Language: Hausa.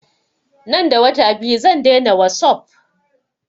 Nan da wata biyu zan daina wasup